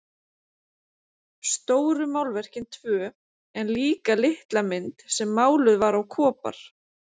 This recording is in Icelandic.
Stóru málverkin tvö en líka litla mynd sem máluð var á kopar.